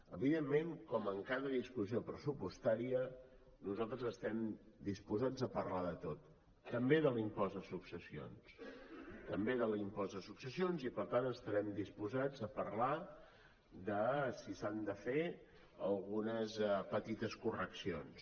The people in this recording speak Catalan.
evidentment com en cada discussió pressupostària nosaltres estem disposats a parlar de tot també de l’impost de successions també de l’impost de successions i per tant estarem disposats a parlar de si s’han de fer algunes petites correccions